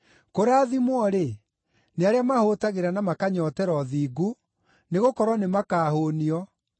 Kũrathimwo-rĩ, nĩ arĩa mahũũtagĩra na makanyootera ũthingu, nĩgũkorwo nĩmakahũũnio.